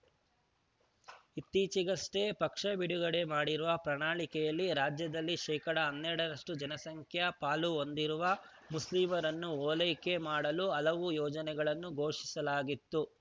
ಇತ್ತೀಚಿಗಷ್ಟೇ ಪಕ್ಷ ಬಿಡುಗಡೆ ಮಾಡಿರುವ ಪ್ರಣಾಳಿಕೆಯಲ್ಲಿ ರಾಜ್ಯದಲ್ಲಿ ಶೇಕಡಾ ಹನ್ನೆರಡರಷ್ಟು ಜನಸಂಖ್ಯಾ ಪಾಲು ಹೊಂದಿರುವ ಮುಸ್ಲಿಮರನ್ನು ಓಲೈಕೆ ಮಾಡಲು ಹಲವು ಯೋಜನೆಗಳನ್ನು ಘೋಷಿಸಲಾಗಿತ್ತು